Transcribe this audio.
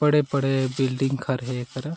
बड़े-बड़े बिल्डिंग हर हे एकरा--